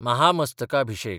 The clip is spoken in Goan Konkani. महामस्तकाभिषेक